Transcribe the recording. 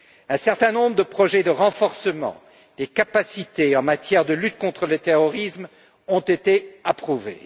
Un certain nombre de projets de renforcement des capacités en matière de lutte contre le terrorisme ont été approuvés.